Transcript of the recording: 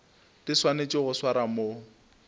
di swanetšego go swarwa mo